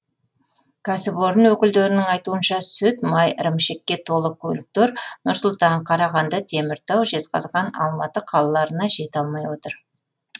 кәсіпорын өкілдерінің айтуынша сүт май ірімшікке толы көліктер нұр сұлтан қарағанды теміртау жезқазған алматы қалаларына жете алмай отыр